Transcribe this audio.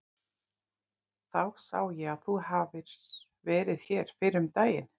Þá sá ég að þú hafðir verið hér fyrr um daginn.